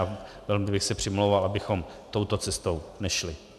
A velmi bych se přimlouval, abychom touto cestou nešli.